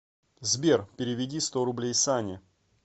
сбер переведи сто рублей сане